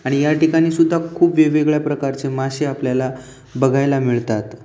आणि या ठिकाणी सुद्धा खूप वेगवेगळ्या प्रकारचे मासे आपल्याला बघायला मिळतात.